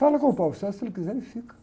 Fala com o, se ele quiser, ele fica.